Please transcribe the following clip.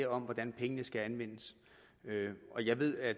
om hvordan pengene skal anvendes jeg ved at